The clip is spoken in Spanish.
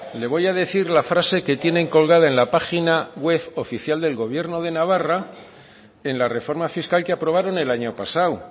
le voy a decir la frase que tienen colgada en la página web oficial del gobierno de navarra en la reforma fiscal que aprobaron el año pasado